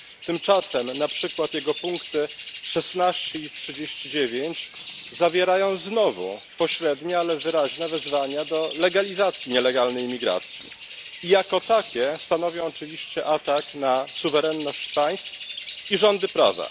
Tymczasem na przykład jego punkty 16 i 39 zawierają znowu pośrednie, ale wyraźne wezwania do legalizacji nielegalnej imigracji i jako takie stanowią oczywiście atak na suwerenność państw i rządy prawa.